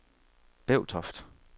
Bevtoft